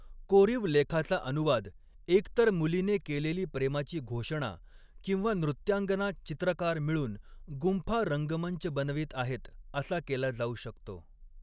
कोरीव लेखाचा अनुवाद एक तर मुलीने केलेली प्रेमाची घोषणा किंवा नृत्यांगना चित्रकार मिळून गुंफा रंगमंच बनवीत आहेत असा केला जाऊ शकतो.